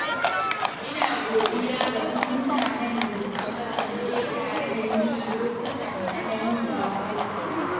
Ina godiya ga duk mutanen da suka kasance tare da ni a lokutan tsanani da wahala.